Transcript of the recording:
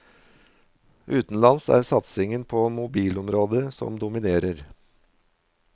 Utenlands er det satsingen på mobilområdet som dominerer.